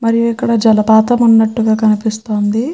మరియు ఇక్కడ జలపాతం ఉన్నట్లు గ కనిపిస్తుంది.